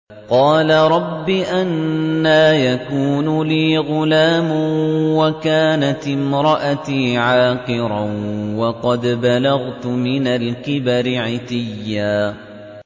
قَالَ رَبِّ أَنَّىٰ يَكُونُ لِي غُلَامٌ وَكَانَتِ امْرَأَتِي عَاقِرًا وَقَدْ بَلَغْتُ مِنَ الْكِبَرِ عِتِيًّا